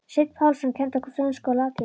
Sveinn Pálsson kenndi okkur frönsku og latínu.